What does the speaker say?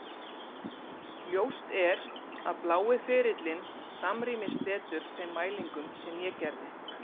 Ljóst er að blái ferillinn samrýmist betur þeim mælingum sem ég gerði.